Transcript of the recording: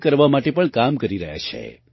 મુક્ત કરવા માટે પણ કામ કરી રહ્યા છે